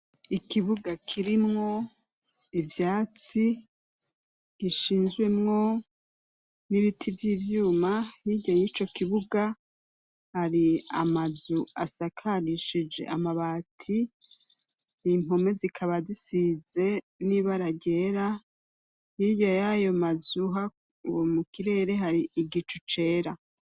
Ikibuga kirimwo ivyatsi gishinzwemwo n'ibiti vy'ivyuma hirya nyi co kibuga ari amazu asakarishije amabati impome zikaba zisize n'ibearagera yirya yayoa mazuha uwo mu kirere hari igico cera.